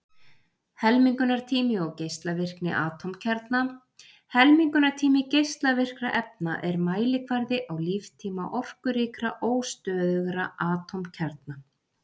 Helmingunartími og geislavirkni atómkjarna Helmingunartími geislavirkra efna er mælikvarði á líftíma orkuríkra, óstöðugra atómkjarna.